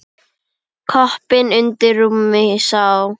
Koppinn undir rúmi sá.